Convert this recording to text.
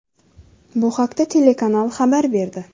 Bu haqda telekanal xabar berdi.